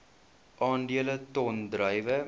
aandele ton druiwe